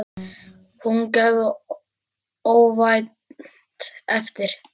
Að hún gefi óvænt eftir.